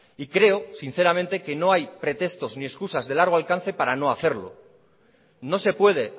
y creo sinceramente que no hay pretextos ni excusas de largo alcance para no hacerlo no se puede